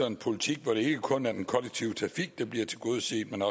en politik hvor det ikke kun er den kollektive trafik der bliver tilgodeset men